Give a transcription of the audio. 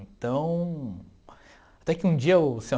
Então, até que um dia o senhor